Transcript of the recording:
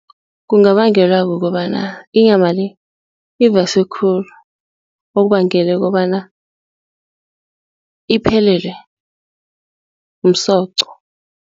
Kungabangelwa kukobana inyama-le ibaswe khulu okubangele kobana iphelelwe msoqo.